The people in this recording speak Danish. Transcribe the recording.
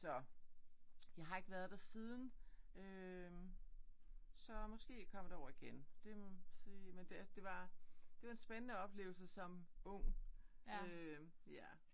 Så jeg har ikke været der siden øh så måske kommer derover igen. Det må vi se. Men det det var det var en spændende oplevelse som ung øh ja